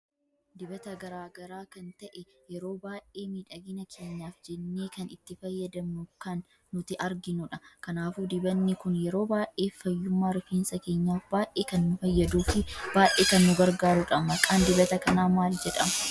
Dibata garaagaraa kan ta'e yeroo baay'ee miidhagina keenyaaf jenne kan itti fayyadamnu kan nuti arginudha. kanaafuu dibanni kun yeroo baay'ee fayyumma rifeensa keenyaaf baay'ee kan nu fayyaduu fi baay'ee kan nu gargaaruudha. Maqaan dibata kana mal jedhama?